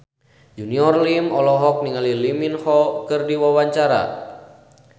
Junior Liem olohok ningali Lee Min Ho keur diwawancara